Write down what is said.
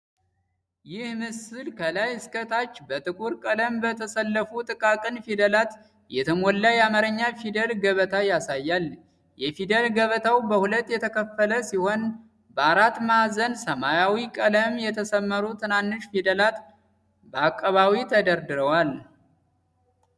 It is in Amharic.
ይህ ምስል ከላይ እስከ ታች በጥቁር ቀለም በተሰለፉ ጥቃቅን ፊደላት የተሞላ የአማርኛ ፊደል ገበታ ያሳያል። የፊደል ገበታው በሁለት የተከፈለ ሲሆን፣ በአራት ማዕዘን ሰማያዊ ቀለም የተሰመሩ ትናንሽ ፊደላት በአቀባዊ ተደርድረዋል።